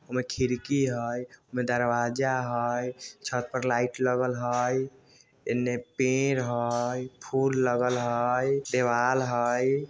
उमे खिड़की हय उमे दरवाजा हय छत पर लाइट लगल हय एन्ने पेड़ हय फूल लगल हय देवाल हय।